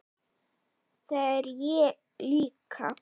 Það er ég líka